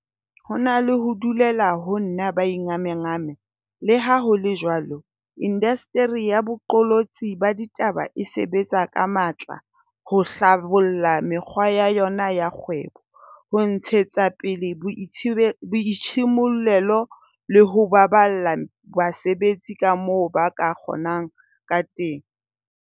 Ho na le ho dulela ho nna ba ingamangama, leha ho le jwalo, indasteri ya boqolotsi ba ditaba e sebetsa ka matla ho hlabolla mekgwa ya yona ya kgwebo, ho ntshetsa pele boitshimollelo le ho baballa basebetsi kamoo ba ka kgo nang ka teng.